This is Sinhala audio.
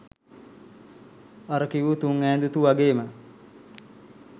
අර කිවූ තුන් ඈඳුතුව වගේම